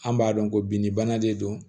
An b'a dɔn ko binni bana de don